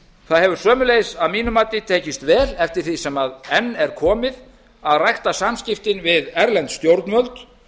það hefur sömuleiðis að mínu mati tekist vel eftir því sem enn er komið að rækta samskiptin við erlend stjórnvöld